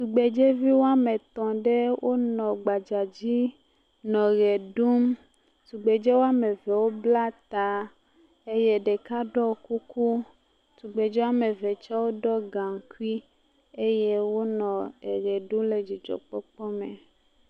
Tugbedzeviwo woame etɔ, wonɔ gbadza dzi nɔ ɣe ɖum. Tugbedzevi woame eve wobla ta eye ɖeka ɖoe kuku, tugbedzevi woame eve wotse ɖɔ gankui eye wonɔ ewɔ ɖum le dzidzɔ kpɔkpɔ me.